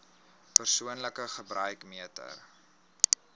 persoonlike gebruik meter